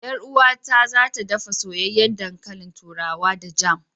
Yar uwata za ta ɗafa soyayyen ɗankalin turawa da jam.